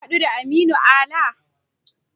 Ka haɗu da Aminu Ala?